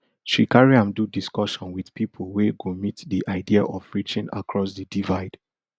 she carry am do discussion wit pipo wey go meet di idea of reaching across di divide